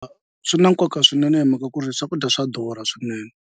Swi na nkoka swinene hi mhaka ku ri swakudya swa durha swinene.